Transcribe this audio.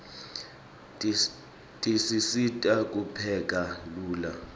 tisisita kupheka lula